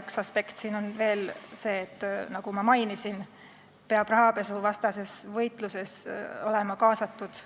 Üks aspekte siin on veel see, nagu ma mainisin, et rahapesuvastasesse võitlusesse peab olema kaasatud